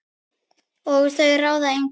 Og þau ráða engu.